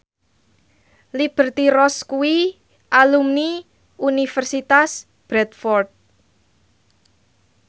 Liberty Ross kuwi alumni Universitas Bradford